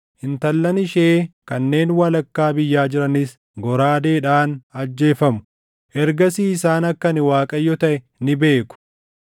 intallan ishee kanneen walakkaa biyyaa jiranis goraadeedhaan ajjeefamu. Ergasii isaan akka ani Waaqayyo taʼe ni beeku.